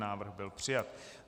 Návrh byl přijat.